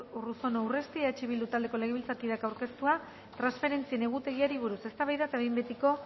unai urruzuno urresti eh bildu taldeko legebiltzarkideak aurkeztua transferentzien egutegiari buruz eztabaida eta behin betiko